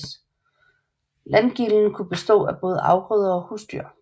Landgilden kunne bestå af både afgrøder og husdyr